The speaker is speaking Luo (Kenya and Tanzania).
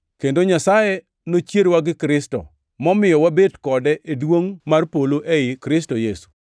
Kendo Nyasaye nochierowa gi Kristo, momiyo wabet kode e duongʼ mar polo ei Kristo Yesu,